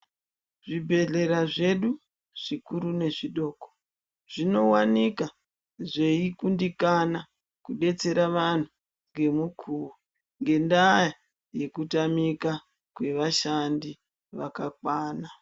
Zvibhedhlera zvedu zvikuru nezvidoko zvinowanika zveikundikana kudetsera vantu ngemukuwo ngendaa yekutamika kwevashandi vakakwana.